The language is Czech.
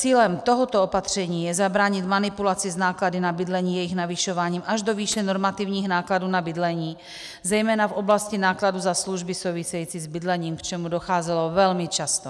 Cílem tohoto opatření je zabránit manipulaci s náklady na bydlení jejich navyšováním až do výše normativních nákladů na bydlení, zejména v oblasti nákladů za služby související s bydlením, k čemuž docházelo velmi často.